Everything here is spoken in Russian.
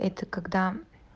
это когда